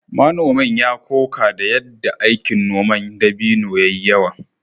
Manomin ya koka da yadda aikin noman dabino ya yi yawa